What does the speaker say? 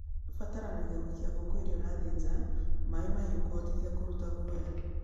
ĩrabatarania gũikia ngũkũ ĩrĩa ũrathĩnja maĩ mahiũ kũhotithia kũruta maguoya.